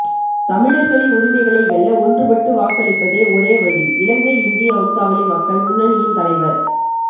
தமிழர்களின் உரிமைகளை வெல்ல ஒன்றுபட்டு வாக்களிப்பதே ஒரே வழி இலங்கை இந்திய வம்சாவளி மக்கள் முன்னணியின் தலைவர்